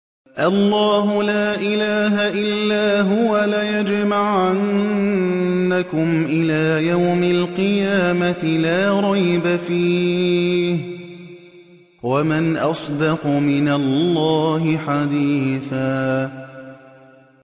اللَّهُ لَا إِلَٰهَ إِلَّا هُوَ ۚ لَيَجْمَعَنَّكُمْ إِلَىٰ يَوْمِ الْقِيَامَةِ لَا رَيْبَ فِيهِ ۗ وَمَنْ أَصْدَقُ مِنَ اللَّهِ حَدِيثًا